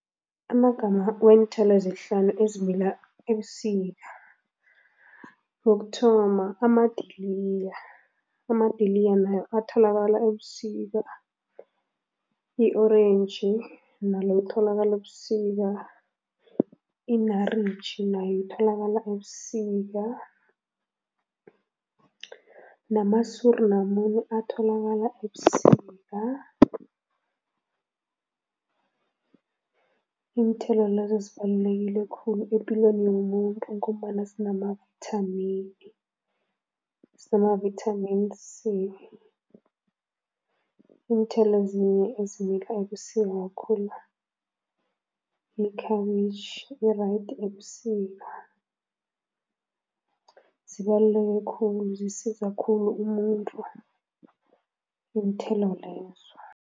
Amagama weenthelo ezihlanu ezimila ebusika, wokuthoma, amadiliya, amadiliya nayo atholakala ebusika, i-orentji nalo litholakala ebusika, i-naartjie nayo itholakala ebusika nama suur lamune atholakala ebusika. Iinthelo lezo zibalulekile khulu epilweni yomuntu ngombana sinamavithamini, zinama-Vitamin C. Iinthelo ezinye ezimila ebusika khulu, yikhabitjhi, i-right ebusika. Zibaluleke khulu, zisiza khulu umuntu, iinthelo lezo.